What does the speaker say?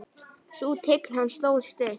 Sú tign hans stóð stutt.